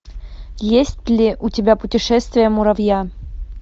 есть ли у тебя путешествие муравья